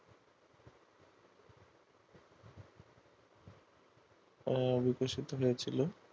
তারা বিকশিত হয়েছিল